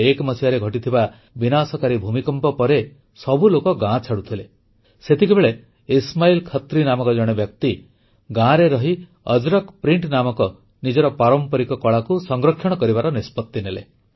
2001 ମସିହାରେ ଘଟିଥିବା ବିନାଶକାରୀ ଭୂମିକମ୍ପ ପରେ ସବୁ ଲୋକ ଗାଁ ଛାଡୁଥିଲେ ସେତିକିବେଳେ ଇସ୍ମାଇଲ ଖତ୍ରୀ ନାମକ ଜଣେ ବ୍ୟକ୍ତି ଗାଁରେ ରହି ଅଜରକ୍ ପ୍ରିଣ୍ଟ ନାମକ ନିଜର ପାରମ୍ପରିକ କଳାକୁ ସଂରକ୍ଷଣ କରିବାର ନିଷ୍ପତ୍ତି ନେଲେ